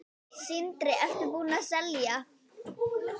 Sindri: Ertu búinn að selja?